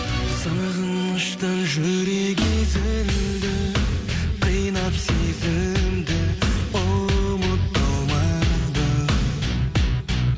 сағыныштан жүрек езілді қинап сезімді ұмыта алмадым